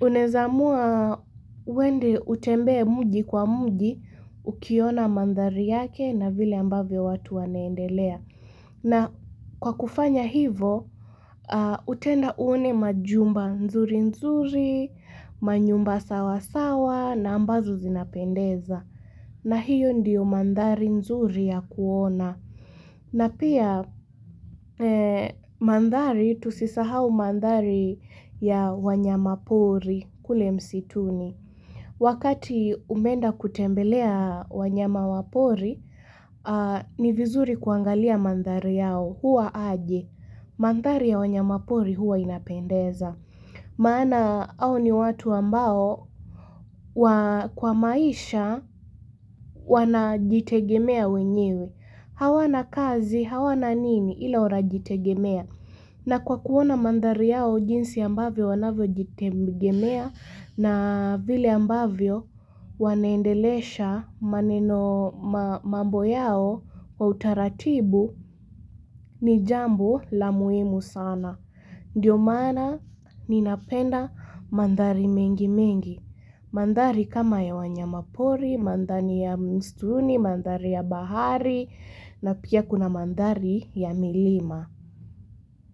Uneza amua uende utembee mji kwa mji, ukiona mandhari yake na vile ambavyo watu wanaendelea. Na kwa kufanya hivo, utaenda uone majumba nzuri nzuri, manyumba sawa sawa na ambazo zinapendeza. Na hiyo ndiyo mandhari nzuri ya kuona na pia mandhari tusisahau mandhari ya wanyama pori kule msituni wakati umeenda kutembelea wanyama wa pori ni vizuri kuangalia mandhari yao huwa aje mandhari ya wanyama pori huwa inapendeza maana hao ni watu ambao kwa maisha wanajitegemea wenyewe. Hawana kazi hawana nini ila wanajitegemea. Na kwa kuona mandhari yao jinsi ambavyo wanavyo jitegemea na vile ambavyo wanaendelesha maneno mambo yao kwa utaratibu ni jambo la muhimu sana. Ndiyo maana ninapenda mandhari mengi mengi. Mandhari kama ya wanyama pori, mandhari ya mstuni, mandhari ya bahari na pia kuna mandhari ya milima.